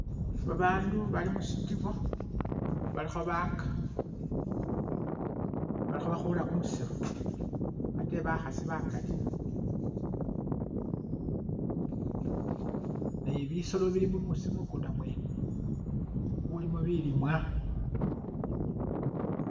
Babaandu bali mushitibo balikho baka balikho bakhula kumusiru ate bakhasi bakaali nebisoolo bili mukunda mwene kulimo bilimwa